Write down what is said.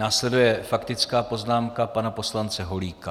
Následuje faktická poznámka pana poslance Holíka.